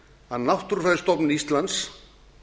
að náttúrufræðistofnun íslands